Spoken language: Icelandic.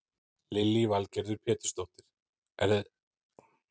Lillý Valgerður Pétursdóttir: Er ekki ótrúlegt að hliðin geti rifnað svona af?